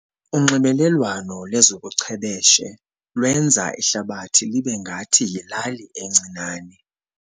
Unxibelelwano lwezobuchwepheshe lwenza ihlabathi libe ngathi yilali encinane.